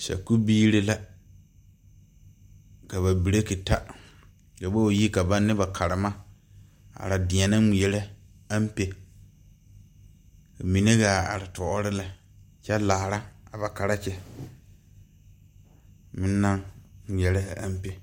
sakubiiri la, ka ba breaki ta, ka ba wa yi ka baŋ ne ba karema a are deɛnɛ ŋmɛrɛ aŋpe, ka mine kaa te are toori lɛ kyɛ laara a ba karekyi meŋ naŋ ŋmɛrɛ a aŋpe